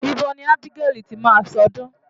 Ibo ni Ábígẹ́lì ti máa ṣọdún?